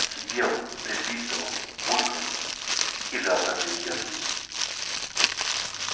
сипел присвистывал булькал и жал как заведённый